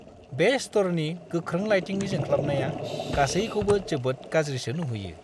बे स्ट'रनि गोख्रों लाइटिंनि जोंख्लाबनाया गासैखौबो जोबोद गाज्रिसो नुहोयो!